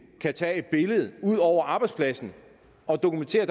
kan tage et billede ud over arbejdspladsen og dokumentere